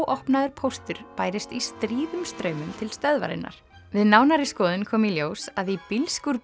óopnaður póstur bærist í stríðum straumum til stöðvarinnar við nánari skoðun kom í ljós að í bílskúr